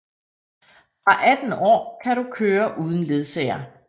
Fra 18 år kan du køre uden ledsager